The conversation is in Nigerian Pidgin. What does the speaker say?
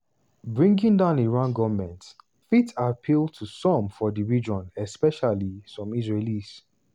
bringing down iran goment fit appeal to some for di region especially some israelis.